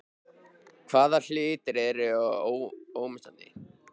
Hvaða hlutur er ómissandi?